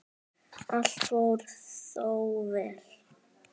Allt fór þó vel.